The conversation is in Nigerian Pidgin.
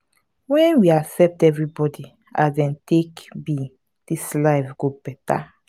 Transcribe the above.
wen we accept everybody as dem take be dis life go beta.